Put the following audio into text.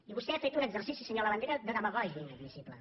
i vostè ha fet un exercici senyor labandera de demagògia inadmissible